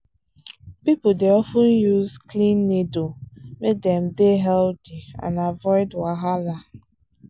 people dey of ten use clean needle make dem dey healthy and avoid wahala.